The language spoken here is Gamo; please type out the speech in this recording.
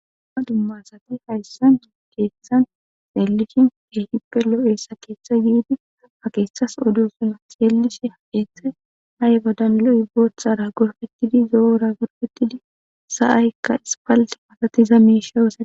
umma dumma asati hayssan ikeessan xeellishin ehipelo7eessa keeththa yiidi a keeththas odo suna xeellishi haeethe hay ba danloi boothara gorfettidi zoora gorfettidi sa7ahykka ispal masatiza miishawusa